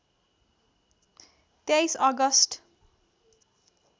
२३ August